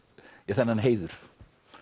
þennan heiður